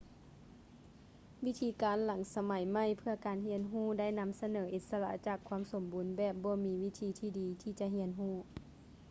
ວິທີການຫຼັງສະໄໝໃໝ່ເພື່ອການຮຽນຮູ້ໄດ້ນຳສະເໜີອິດສະຫຼະຈາກຄວາມສົມບູນແບບ ບໍ່ມີວິທີທີ່ດີທີ່ຈະຮຽນຮູ້